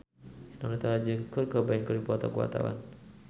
Eno Netral jeung Kurt Cobain keur dipoto ku wartawan